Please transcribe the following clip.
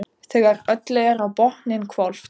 Þegar öllu er á botninn hvolft.